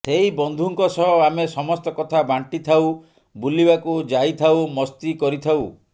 ସେହି ବନ୍ଧୁଙ୍କ ସହ ଆମେ ସମସ୍ତ କଥା ବାଣ୍ଟି ଥାଉ ବୁଲିବାକୁ ଯାଇଥାଉ ମସ୍ତି କରିଥାଉ